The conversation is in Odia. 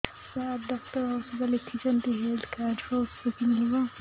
ସାର ଡକ୍ଟର ଔଷଧ ଲେଖିଛନ୍ତି ହେଲ୍ଥ କାର୍ଡ ରୁ ଔଷଧ କିଣି ହେବ